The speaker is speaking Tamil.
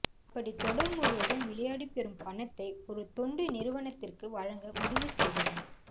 அப்படி தொடர் முழுவதும் விளையாடி பெறும் பணத்தை ஒரு தொண்டு நிறுவனத்திற்கு வழங்க முடிவு செய்துள்ளார்